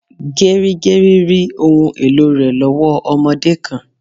Gerigeri rí ohùn èlò rẹ lowo ọmọdé kan